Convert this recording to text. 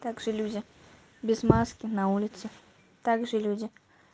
также люди без маски на улице также люди